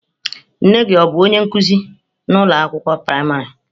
Nne gị ọ bụ onye nkuzi ụlọ akwụkwọ praịmarị?